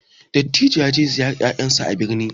Dattijo ya je ziyarar ƴaƴan sa a birni